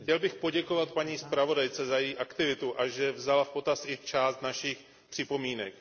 Chtěl bych poděkovat paní zpravodajce za její aktivitu a že vzala v potaz i část našich připomínek.